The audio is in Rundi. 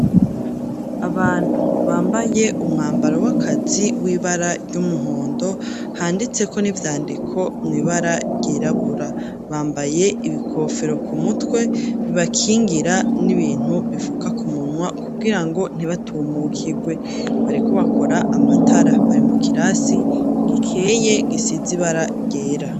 Abantu bambaye umwambaro w'akazi w'ibara ry'umuhondo handitseko n'ivyandiko mu ibara ryirabura, bambaye ibikofero ku mutwe bibakingira n'ibintu bifuka kumunwa kubgirango ntibatumukigwe bariko bakora amatara bari mu kirasi gikeye gisiz ibara ryera.